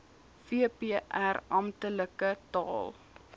vpr amptelike taal